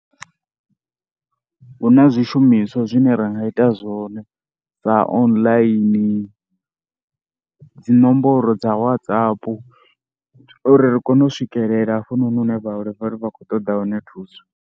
Hu na zwishumiswa zwine ra nga ita zwone sa online, dzi nomboro dza WhatsApp uri ri kone u swikelela hafhanoni hune vhaholefhali vha khou ṱoḓa hone thuso.